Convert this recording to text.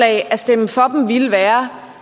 at stemme for dem ville være